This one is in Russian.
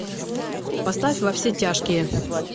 поставь во все тяжкие